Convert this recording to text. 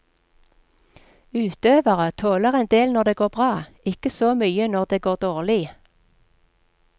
Utøvere tåler en del når det går bra, ikke så mye når det går dårlig.